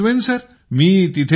नक्की पोहचवेन सर